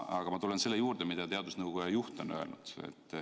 Aga ma tulen selle juurde, mida teadusnõukoja juht on öelnud.